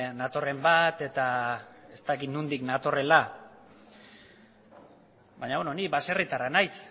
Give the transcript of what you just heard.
natorren bat eta ez dakit nondik natorrela baina ni baserritarra naiz